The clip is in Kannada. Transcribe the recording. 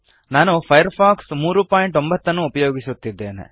ನಾನು ಫೈರ್ಫಾಕ್ಸ್ 309 ಉಪಯೋಗಿಸುತ್ತಿದ್ದೇನೆ